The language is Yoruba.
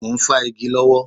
Mo ń fá igi lọ́wọ́